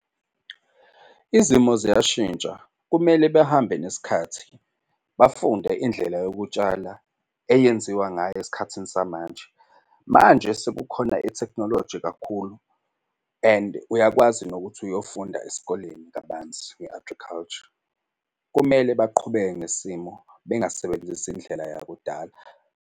Izimo ziyashintsha, kumele behambe nesikhathi bafunde indlela yokutshala eyenziwa ngayo esikhathini samanje. Manje sekukhona itekhnoloji kakhulu and uyakwazi nokuthi uyofunda esikoleni kabanzi nge-agriculture. Kumele baqhubeke ngesimo bengasebenzisi indlela yakudala.